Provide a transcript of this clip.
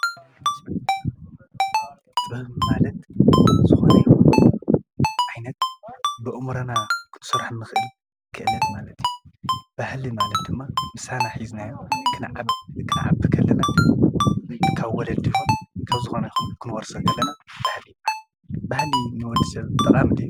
ጥበብ ማለት ዝኾነ ይኹን ዓይነት ብኣእሙረና ክንሰርሖ ንኽእል ክእለት ማለት እዩ፡፡ ባህሊ ማለት ድማ ምሳና ሒዝናዮ ክንዓቢ ከለና ካብ ወለዲ ይኹን ካብ ዝኾነ ይኹን ክንወርሶ ከለና ባህሊ ይበሃል፡፡ ባህሊ ንወድ ሰብ ጠቓሚ ድዩ?